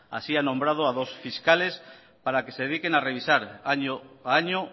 así ha nombrado a dos fiscales para que se dediquen a revisar año a año